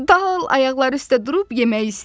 Dal ayaqları üstə durub yemək istəyər.